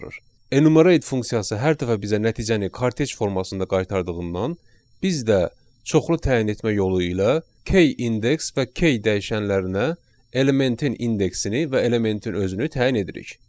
Enumerate funksiyası hər dəfə bizə nəticəni kartec formasında qaytardığından biz də çoxlu təyin etmə yolu ilə k index və k dəyişənlərinə elementin indeksini və elementin özünü təyin edirik.